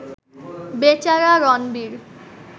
বেচারা রণবীর